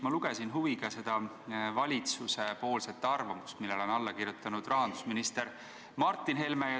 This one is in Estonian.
Ma lugesin huviga valitsuse arvamust, millele on alla kirjutanud rahandusminister Martin Helme.